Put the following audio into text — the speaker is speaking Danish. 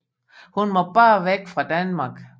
Hun må bare væk fra Danmark